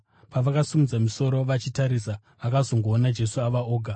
Pavakasimudza misoro vachitarisa vakazongoona Jesu ava oga.